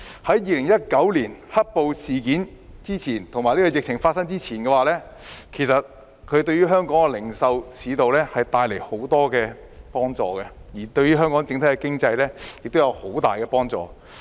在2019年"黑暴"事件及疫情發生前，"一地兩檢"的安排對香港的零售市道帶來很多幫助，對香港的整體經濟亦有很大幫助。